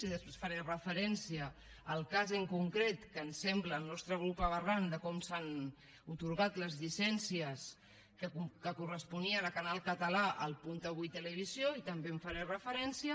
i després faré referència al cas en concret que ens sembla al nostre grup aberrant de com s’han atorgat les llicències que corresponien a canal català a el punt avui televisió i també hi faré referència